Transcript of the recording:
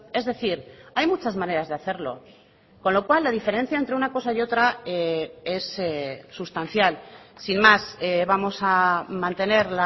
es decir hay muchas maneras de hacerlo con lo cual la diferencia entre una cosa y otra es sustancial sin más vamos a mantener